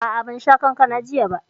A'a, ban sha kankanan jiya ba